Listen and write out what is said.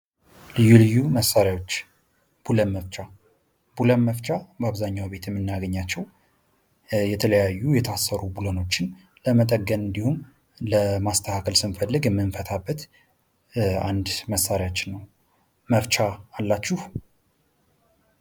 ልዩ ልዩ መሳሪያዎች፡- ብሎን መፍቻ፡-ብሎን መፍቻ በብዙ ቤቶች የምናገኛቸው የተለያዩ የታሰሩ ብሎኖችን ለመጠገን እንዲሁም ለማስተካከል ስንፈልግ የምንፈታበት አንድ መሳሪያችን ነው። መፍቻ አላችሁ?